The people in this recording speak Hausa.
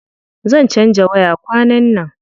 Zan canza waya kwanan nan.